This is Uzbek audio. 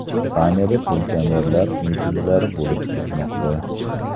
Ispaniyada pensionerlar mitinglari bo‘lib o‘tmoqda.